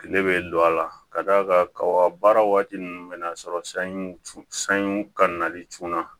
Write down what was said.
Kile bɛ don a la ka d'a kan kaba baara waati ninnu bɛ na sɔrɔ sanjiw sanjiw ka nali cunna